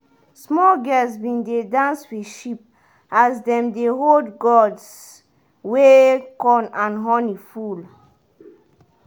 small girls been dey dance with sheep as dem dey hold gourds wey corn and honey full